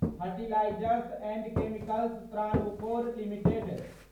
fertilisers and chemicals Travancore limited